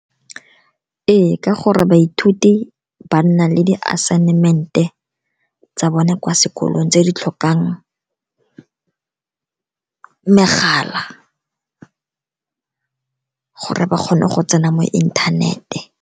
Ee, ka gore baithuti ba nna le di-assignment-e tsa bone kwa sekolong tse di tlhokang megala gore ba kgone go tsena mo inthanete.